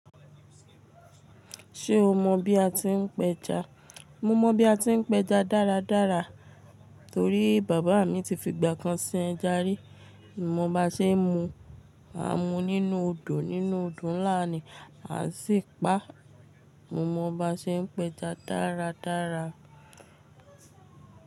Ṣé o mọ bí a ti ń pẹja? Mo mọ bí a ti ń pẹja dáradára torí bàbá mi ti fi ìgbà kan sin ẹja rí. Mo mọ bá ṣe ń mu, à ń mu nínú odò nínú ọdún ńlá ni a sì pa. Mo mọ bí a ṣe ń pẹja dáradára.